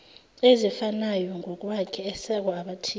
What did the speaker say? ezifanayongokwakhe esekwa abathize